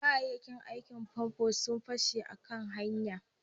kayayyakin famfo sun fashe a hanya